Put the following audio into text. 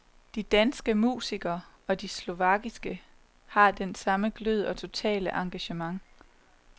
De danske musikere og de slovakiske har den samme glød og totale engagement.